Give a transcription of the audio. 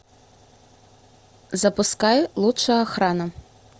запускай лучшая охрана